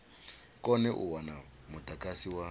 kone u wana mudagasi wa